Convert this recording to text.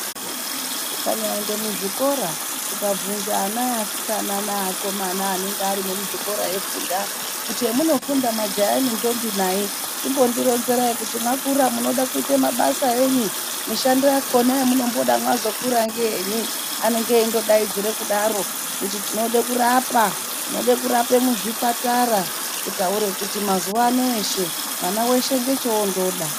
Ukanyaenda muzvikora ukabhunza ana easikana neakomana anenge airimo kuti hemunofunda kuti hemunofunda majaha nendombi nai, chimbondironzereyi kuti mwakura munoda kuzoita mabasa eyi? Mishando yakhona yemunomboda mwakura ngeyeyi, anenge eingodaidzira kuti tinoda kurapa, tinoda kurapa muzvipatara kutaura kuti mazuva anawa mwana weshe ndochoondoda.